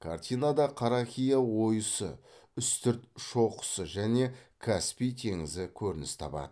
картинада қарақия ойысы үстірт шоқысы және каспий теңізі көрініс табады